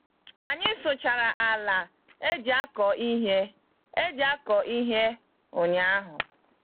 Anyị sụchara ala eji akọ ihe eji akọ ihe ụnyaahụ.